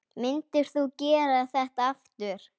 Myndir þú gera þetta aftur?